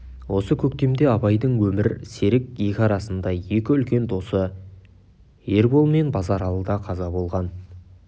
осы көктемде абайдың өмір серік екі арысындай екі үлкен досы ербол мен базаралы да қаза болған